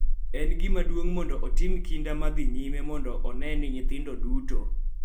En gima duong� mondo otim kinda ma dhi nyime mondo one ni nyithindo duto,